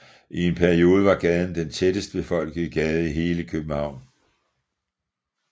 I en periode var gaden den tættest befolkede gade i hele København